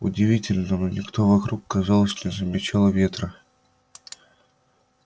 удивительно но никто вокруг казалось не замечал ветра